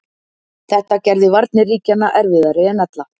Þetta gerði varnir ríkjanna erfiðari en ella.